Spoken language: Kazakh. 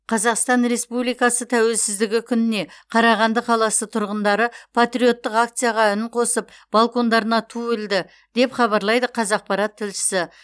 қазақстан республикасы тәуелсіздігі күніне қарағанды қаласы тұрғындары патриоттық акцияға үн қосып балкондарына ту ілді деп хабарлайды қазақпарат тілшісі